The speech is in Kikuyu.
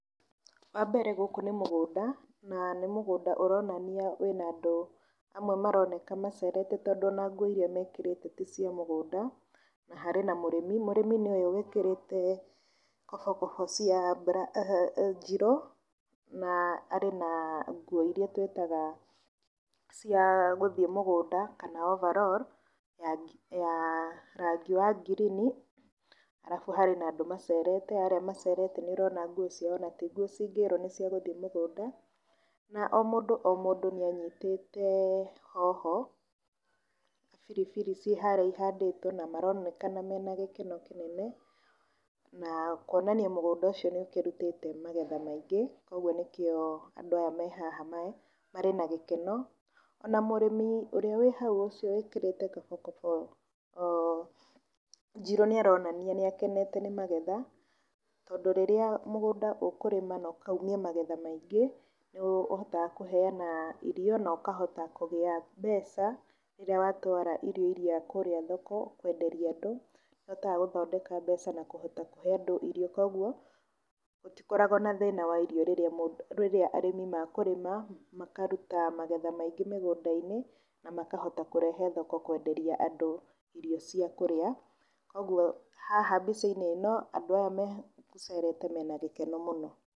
Wa mbere gũkũ nĩ mũgũnda na nĩ mũgũnda ũronania wĩna andũ amwe maroneka macerete tondũ ona nguo iria mekĩrĩte ti cia mũgũnda, na harĩ na mũrĩmi mũrĩmi nĩ ũyũ wĩkĩrĩte kobokobo cia njirũ, na arĩ na nguo iria twĩtaga cia gũthiĩ mũgũnda kana overall ya rangi wa ngirini. Arabu harĩ na andũ macerete arĩa macerete marĩ na nguo ona ti nguo cingĩrwo nĩ cia gũthiĩ mũgũnda na o mũndũ o mũndũ nĩ anyitĩte hoho, biribiri ciĩ harĩa ihandĩtwo na maronekana marĩ na gĩkeno kĩnene. Na kuonania mũgũnda ũco nĩ ũkĩrutĩte magetha maingĩ ũguo nĩkĩo andũ aya me haha marĩ na gĩkeno, ona mũrĩmi ũrĩa wĩ hau ũcio wĩkĩrĩte kobokobo njirũ nĩ aronania nĩ akenete nĩ magetha. Tondũ rĩrĩa mũgũnda ũkũrĩma na ũkaumia magetha maingĩ, nĩ ũhotaga kũheana irio na ũkahota kũgĩa mbeca rĩrĩa wa twara irio iria kũrĩa thoko kwenderia andũ, nĩ ũhotaga gũthondeka mbeca na kũhota kũhe andũ irio. Koguo gũtikoragwo na thĩna wa irio rĩrĩa arĩmi makũrĩma. arabu makaruta magetha maingĩ mĩgũnda-inĩ na makahota kũrehe thoko kwenderia andũ irio cia kũrĩa, koguo haha mbica-inĩ ĩno andũ aya megũcerete mena gĩkeno mũno.